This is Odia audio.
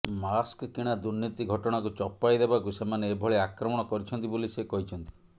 ମାସ୍କ କିଣା ଦୁର୍ନୀତି ଘଟଣାକୁ ଚପାଇ ଦେବାକୁ ସେମାନେ ଏଭଳି ଆକ୍ରମଣ କରିଛନ୍ତି ବୋଲି ସେ କହିଛନ୍ତି